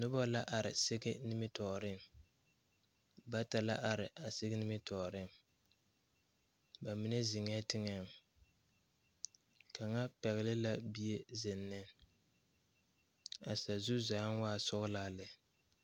Nobɔ la are sige nimitoore bata la are a sige nimitooreŋ ba mine zeŋɛɛ teŋɛŋ kaŋa pɛgle la bie zeŋ ne a sazu zaaŋ waa sɔglaa lɛ.